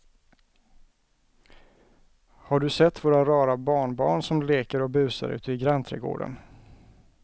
Har du sett våra rara barnbarn som leker och busar ute i grannträdgården!